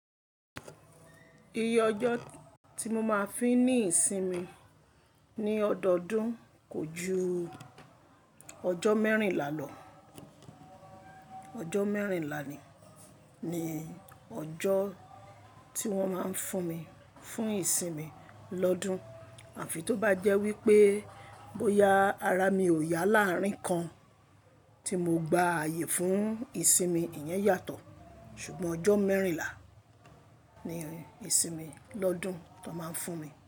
Iye ọjọ́ tí mo máa ń fi ní ìsinmi ní ọdọọdún kò ju ọjọ́ mẹ́rìnlá lọ. Ọjọ́ mẹ́rìnlá ni, ni ọjọ́ tí wọ́n máa ń fún mi fún ìsinmi lọ́dún. Àfi tó bá jẹ́ wípé bóyá ara mi ò yá láàrín kan tí mo gba àyè fún ìsinmi, ìyẹn yàtọ̀. Ṣùgbọ́n ọjọ́ mẹ́rìnlá ni ìsinmi lọ́dún tó máa ń fún mi.